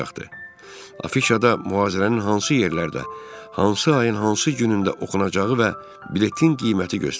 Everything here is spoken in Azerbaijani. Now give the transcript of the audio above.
Afişada mühazirənin hansı yerlərdə, hansı ayın hansı günündə oxunacağı və biletin qiyməti göstərilirdi.